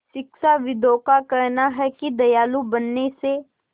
शिक्षाविदों का कहना है कि दयालु बनने से